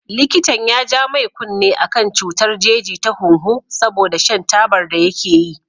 Likitan ya ja mai kunne akan cutar jeji ta hunhu saboda shan tabar da yake yi.